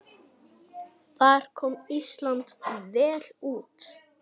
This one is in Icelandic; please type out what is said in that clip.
Þar kom Ísland vel út.